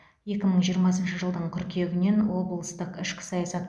екі мың жиырмасыншы жылдың қыркүйегінен облыстық ішкі саясат